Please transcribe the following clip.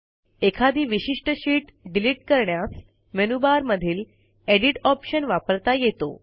एखादी विशिष्ट sheet delete करण्यास मेनूबारमधील एडिट ऑप्शन वापरता येतो